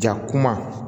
Ja kuma